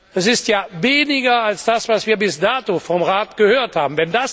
Es ist ja weniger als das, was wir bis dato vom Rat gehört haben.